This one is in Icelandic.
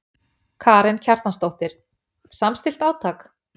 Karen Kjartansdóttir: Samstillt átak?